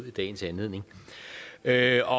i dagens anledning havde